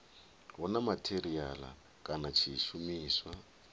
hu na matheriala kana tshishumiswa